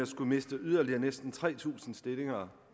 skulle miste yderligere næsten tre tusind stillinger